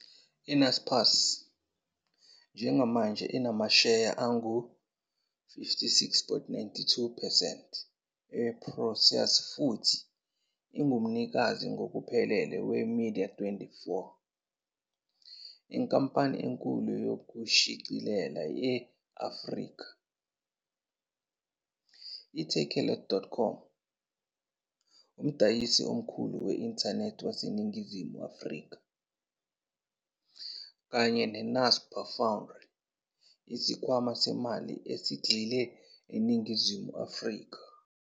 I-Naspers njengamanje inamasheya angu-56.92 percent e-Prosus futhi ingumnikazi ngokuphelele we- Media24, inkampani enkulu yokushicilela e-Afrika, i-Takealot.com, umdayisi omkhulu we-inthanethi waseNingizimu Afrika, kanye ne-Naspers Foundry, isikhwama semali esigxile eNingizimu Afrika.